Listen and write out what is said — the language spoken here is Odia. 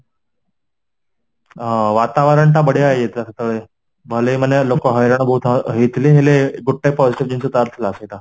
ହଁ, ବାତା ବରଣଟା ବଢିଆ ହେଇଯାଇଥିଲା ସେତବେଳେ ନହଲେ ମାନେ ଲୋକ ହଇରାଣ ବହୁତ ହ ହେଇଥିଇ ହେଲେ ଗୋଟେ ପଇସା ଜିନିଷ ତାର ଥିଲା ସେଇଟା